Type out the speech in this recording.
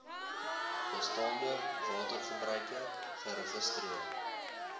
bestaande watergebruike geregistreer